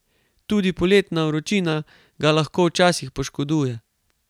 Tudi poletna vročina ga lahko včasih poškoduje.